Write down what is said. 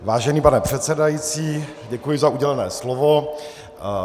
Vážený pane předsedající, děkuji za udělené slovo.